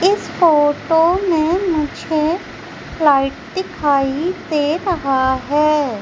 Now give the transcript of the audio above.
इस फोटो में मुझे फ्लाइट दिखाई दे रहा है।